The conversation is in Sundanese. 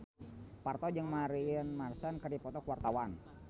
Parto jeung Marilyn Manson keur dipoto ku wartawan